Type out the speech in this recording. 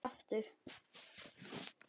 Ég fer ekki aftur.